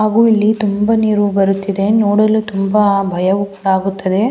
ಹಾಗು ಇಲ್ಲಿ ತುಂಬ ನೀರು ಬರುತ್ತಿದೆ ನೋಡಲು ತುಂಬ ಭಯವು ಕೂಡ ಆಗುತ್ತದೆ.